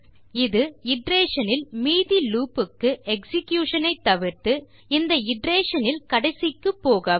இந்த இட்டரேஷன் இல் மீதி லூப் க்கு எக்ஸிகியூஷன் ஐ தவிர்த்து இந்த இட்டரேஷன் இல் கடைசிக்கு போகவும்